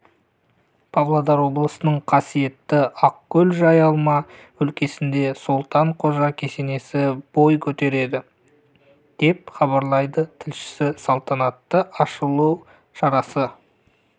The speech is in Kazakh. павлодар облысының қасиетті ақкөл-жайылма өлкесінде солтан қожа кесенесі бой көтереді деп хабарлайды тілшісі салтанатты ашылу шарасы